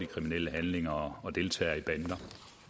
kriminelle handlinger og deltager i bander